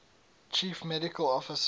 chief medical officer